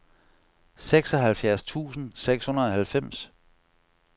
seksoghalvfjerds tusind seks hundrede og halvfems